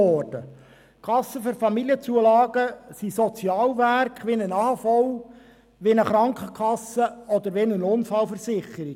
Die Kassen für Familienzulagen sind Sozialwerke wie die AHV, die Krankenkasse oder die Unfallversicherung.